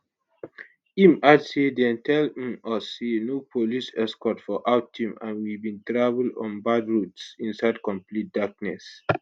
im add say dem tell um us say no police escort for out team and we bin travel on bad roads inside complete darkness